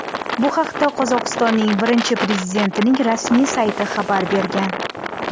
Bu haqda Qozog‘istonning birinchi prezidentining rasmiy sayti xabar bergan .